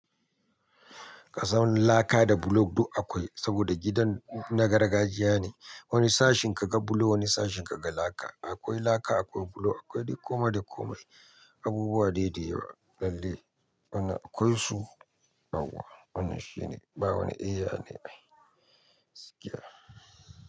Ka sami laka da bulo duk akwai saboda gidan na gargajiya ne. Wani sashin kaga bulo, wani sashin kaga laka. Akwai laka, akwai bulo, akwai dai kome da komai. Abubuwa dai da yawa. Lalle wannan aƙwaisu yauwa. Wannan shine, ba wani ae yane ai.